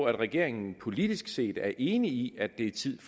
at regeringen politisk set er enig i at det er tid